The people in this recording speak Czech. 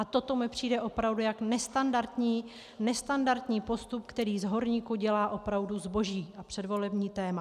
A toto mi přijde opravdu jako nestandardní postup, který z horníků dělá opravdu zboží a předvolební téma.